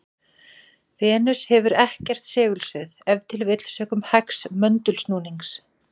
Venus hefur ekkert segulsvið, ef til vill sökum hægs möndulsnúnings.